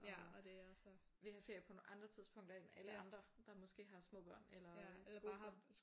Og vil have ferie på nogle andre tidspunkter end alle andre der måske har små børn eller som bare har